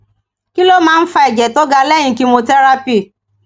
kí ló máa ń fa ẹjẹ tó ga lẹyìn chemotherapy